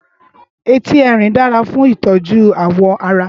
Éti èrin dàrâ fún itòjú áwò àrá